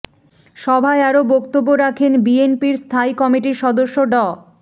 সভায় আরও বক্তব্য রাখেন বিএনপির স্থায়ী কমিটির সদস্য ড